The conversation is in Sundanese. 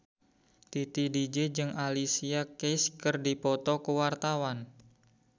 Titi DJ jeung Alicia Keys keur dipoto ku wartawan